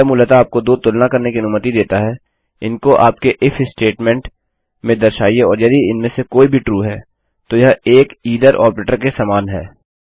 यह मूलतः आपको दो तुलना करने कि अनुमति देता है इनको आपके इफ statementस्टेटमेंट में दर्शाइए और यदि इनमें से कोई भी ट्रू है तो यह एक आइथर ऑपरेटर के समान है